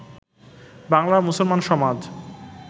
বাঙলার মুসলমান সমাজ